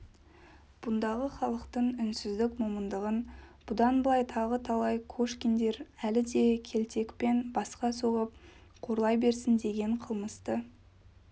бұндағы халықтың үнсіздік момындығын бұдан былай тағы талай кошкиндер әлі де келтекпен басқа соғып қорлай берсін деген қылмысты